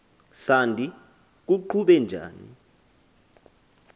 sandi kuqhube njani